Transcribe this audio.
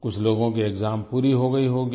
कुछ लोगों की एक्साम पूरी हो गयी होगी